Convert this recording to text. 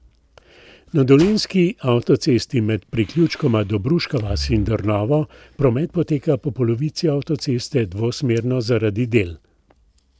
Na dolenjski avtocesti med priključkoma Dobruška vas in Drnovo promet poteka po polovici avtoceste dvosmerno zaradi del.